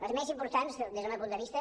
les més importants des del meu punt de vista